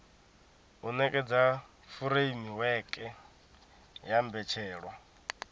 u nekedza furemiweke ya mbetshelwa